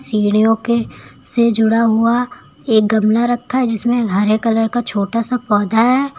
सीढ़ियों के से जुड़ा हुआ एक गमला रखा है जिसमें हरे कलर का छोटा सा पौधा हैं।